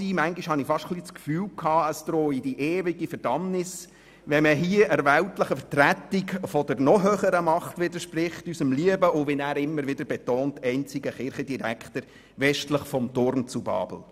Manchmal hatte ich fast den Eindruck, es drohe die ewige Verdammnis, wenn man der weltlichen Vertretung der noch höheren Macht widerspricht, nämlich unserem lieben, und wie er immer wieder betont, einzigen Kirchendirektor westlich des Turms zu Babel.